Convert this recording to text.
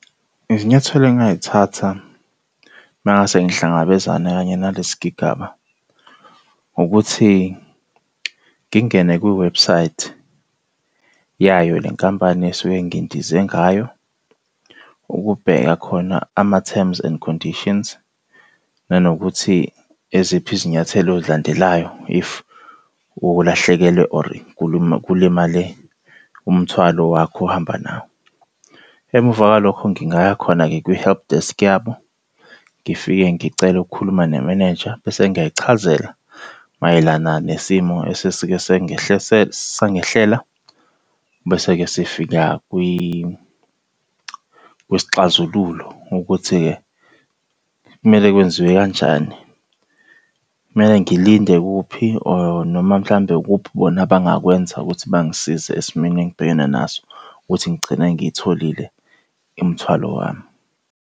Izinyathelo engingay'thatha uma ngase ngihlangabezane kanye nalesi sigigaba ukuthi ngingene kwiwebhusayithi yayo lenkampani esuke ngindize ngayo, ukubheka khona ama-terms and conditions, nanokuthi eziphi izinyathelo oy'landelayo if ulahlekelwe or kulimale umthwalo wakho ohamba nawo. Emva kwalokho ngingaya khona-ke kwi-helpdesk yabo ngifike ngicele ukukhuluma ne-manager, bese ngiyayichazela mayelana nesimo esesike sangehlela. Bese-ke sifika kwisixazululo ukuthi-ke kumele kwenziwe kanjani. Kumele ngilinde kuphi or noma mhlampe ukuphi bona abangakwenza ukuthi bangisize esimeni engibhekene naso ukuthi ngigcine ngiyitholile imthwalo wami.